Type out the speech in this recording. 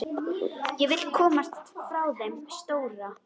Vill komast frá þeim stóra.